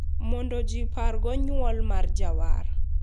Mondo gipargo nywol mar jawar.